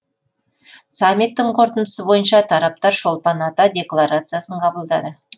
саммиттің қорытындысы бойынша тараптар шолпан ата декларациясын қабылдады